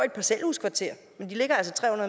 et parcelhuskvarter men de ligger altså tre